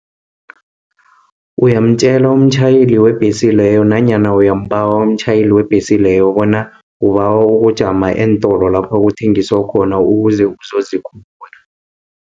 Uyamtjela umtjhayeli webhesi leyo, nanyana uyambawa umtjhayeli webhesi leyo, bona ubawa ukujama eentolo, lapho kuthengiswa khona, ukuze uzozikhulula.